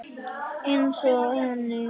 Einsog henni.